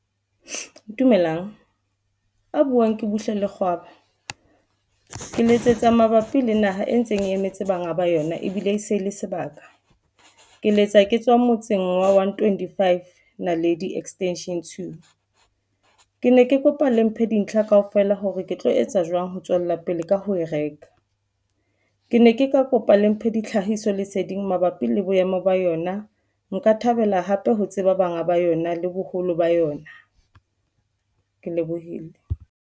Dumelang ya buwang ke Buhle Lekgwaba Ke letsetsa mabapi le naha e ntseng e emetse banga ba yona ebile se le sebaka ke letsa ke tswa motseng wa One. Twenty five na le di extension two ke ne ke kopa le mphe dintlha kaofela hore ke tlo etsa jwang ho tswella pele ka ho e reka ke ne ke ka kopa le mphe di tlhahiso leseding mabapi le boemo ba yona ka thabela hape ho tseba banga ba yona le boholo ba yona. Ke lebohile.